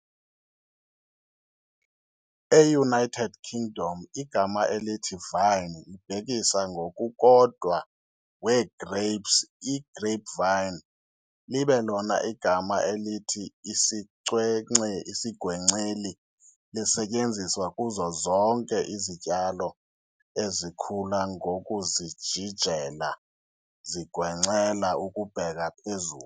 E-United Kingdom, igama elithi "vine" libhekisa ngokukodwa wee-grapes i-grapevine, libe lona igama elithi "isigwenceli" lisetyenziswa kuzo zonke izityalo ezikhula ngokuzijijela zigwencela ukubheka phezulu.